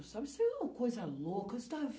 Sabe isso é uma coisa louca. Você está